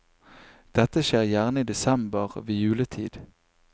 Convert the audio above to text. Dette skjer gjerne i desember, ved juletid.